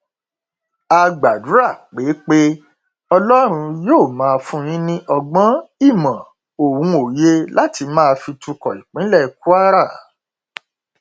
a gbàdúrà pé pé ọlọrun yóò máa fún yín ní ọgbọn ìmọ ohun òye láti máa fi tukọ ìpínlẹ kwara